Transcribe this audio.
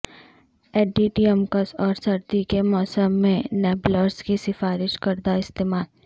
ایڈیڈیمکس اور سردی کے موسم میں نیبلزر کی سفارش کردہ استعمال